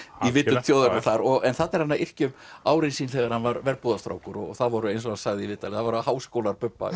í vitund þjóðarinnar þar en þarna er hann að yrkja um árin sín þegar hann var verbúðarstrákur og það voru eins og hann sagði í viðtali það voru háskólar Bubba